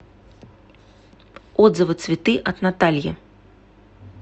отзывы цветы от натальи